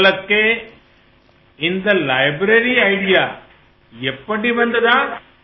உங்களுக்கு இந்த நூலகம் பற்றிய எண்ணம் எபப்டி ஏற்பட்டது